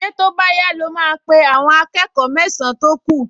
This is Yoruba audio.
Ṣé tó bá yá ló máa pe àwọn akẹ́kọ̀ọ mẹ́san-án tó kù?